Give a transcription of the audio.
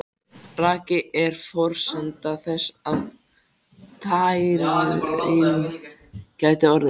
Raki er forsenda þess að tæring geti orðið.